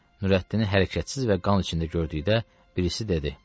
Nurəddini hərəkətsiz və qan içində gördükdə birisi dedi: